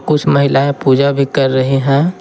कुछ महिलाएं पूजा भी कर रहे हैं।